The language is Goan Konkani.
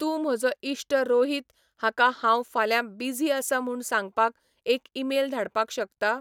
तूं म्हजो इश्ट रोहीत हाका हांव फाल्यां बीझी आसां म्हूण सांगपाक एक ईमेल धाडपाक शकता?